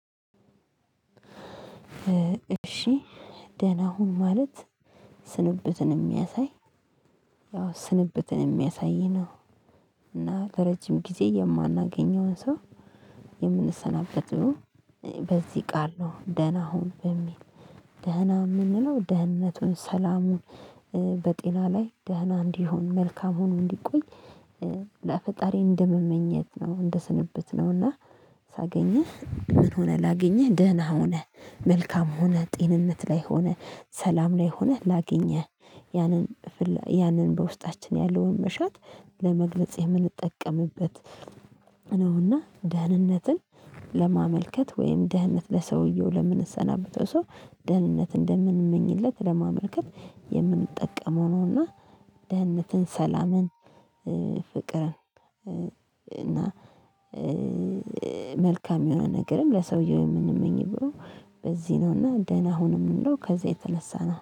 እሺ ደህና ሁን። ማለት ስንብትን ሚያሳይ ያው ስንብትን ሚያሳይ ነው። እና ለረጅም ጊዜ የማናገኘውን ሰው የምንሰናበቱ። በዚህ ቃል ነው ደህና ሁን በሚል ደህና የምንለው ደህንነቱን ሰላሙን በጤና ላይ ደህና እንዲሆን መልካም ሆኖ እንዲቆይ ለፈጣሪ እንደምመኘት ነው። እንደ ስንብት ነው። እና ሳገኝህ ምን ሆነ? ላገኝህ ደህና ሆነህ መልካም ሆነህ ጤንነት ላይ ሆነህ ሰላም ላይ ሆነህ ላገኘህ። ያንን ያንን በውስጣችን ያለውን መሻት ለመግለጽ የምንጠቀምበት። ነውና ደህንነትን ለማመልከት ወይም ደህንነት ለሰውየው ለምንሰናበተው ሰው ደህንነት እንደምንመኝለት ለማመልከት የምንጠቀመው ነውና። ደህንነትን ሰላምን ፍቅርን እና መልካም የሆነ ነገርም ለሰውየው የምንመኝ ብሎ በዚህ ነውና ደህና ሁን ምንለው ከዚህ የተነሳና